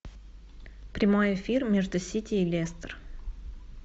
прямой эфир между сити и лестер